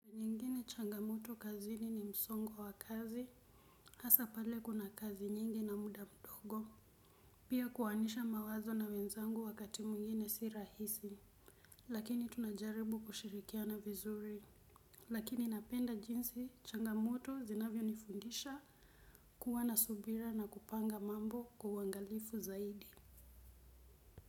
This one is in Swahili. Changa moto kazini ni msongo wa kazi hasa pale kuna kazi nyingi na muda mdogo. Pia kuwanisha mawazo na wenzangu wakati mwingine si rahisi. Lakini tunajaribu kushirikiana vizuri. Lakini napenda jinsi changa moto zinavyo nifundisha kuwa na subira na kupanga mambo kwa uangalifu zaidi.